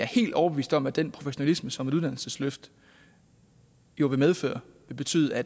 helt overbevist om at den professionalisme som et uddannelsesløft jo vil medføre vil betyde at